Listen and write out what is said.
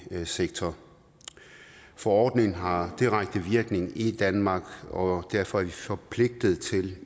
sektor forordningen har direkte virkning i danmark og derfor er vi forpligtet til at